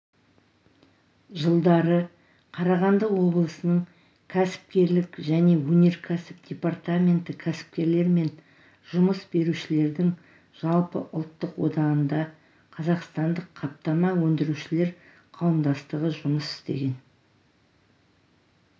жылдары қарағанды облысының кәсіпкерлік және өнеркәсіп департаменті кәсіпкерлер мен жұмыс берушілердің жалпыұлттық одағында қазақстандық қаптама өндірушілер қауымдастығы жұмыс істеген